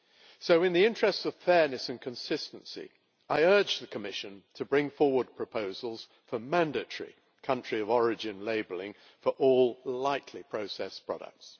So, in the interests of fairness and consistency, I urge the Commission to bring forward proposals for mandatory country of origin labelling for all lightly processed products.